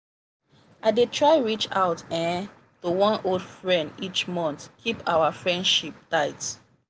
i dey try reach out um to one old friend each month keep our friendship tight.